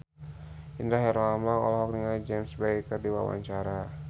Indra Herlambang olohok ningali James Bay keur diwawancara